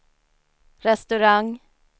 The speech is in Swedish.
restaurang